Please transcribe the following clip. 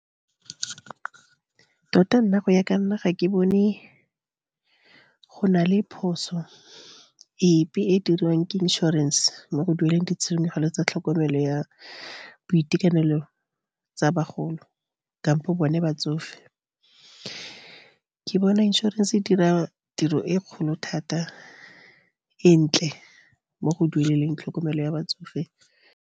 Tota nna, go ya ka nna, ga ke bone go na le phoso epe e diriwang ke insurance-e mo go dueleng ditshenyegelo tsa tlhokomelo ya boitekanelo tsa bagolo, kampo bone batsofe. Ke bona inšorense e dira tiro e kgolo thata, e ntle mo go dueleleng tlhokomelo ya batsofe.